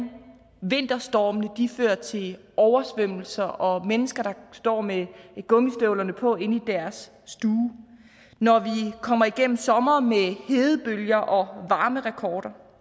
vinterstormene fører til oversvømmelser og mennesker der står med gummistøvlerne på inde i deres stue når vi kommer igennem somre med hedebølger og varmerekorder